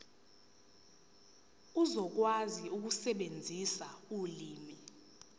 uzokwazi ukusebenzisa ulimi